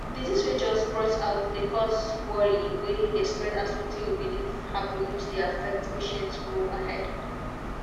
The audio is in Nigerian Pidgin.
disease way just burst out dey cause worry way dey spread as wetin you believe happen which dey affect patient go ahead.